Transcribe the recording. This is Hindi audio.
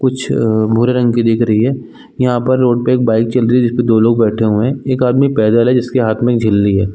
कुछ भूरे रंग की दिख रही है यहाँ पर रोड पे एक बाइक चल रही है जिसपे दो लोग बैठे हुए है एक आदमी पैदल है जिसके हाथ में एक झिल्ली हैं।